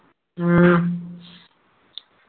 ഉം